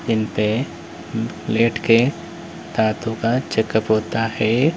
इनपे लेट के दांतों का चेकअप होता है।